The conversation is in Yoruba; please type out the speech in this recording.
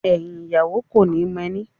Ẹyin ìyàwó koni mo ẹni.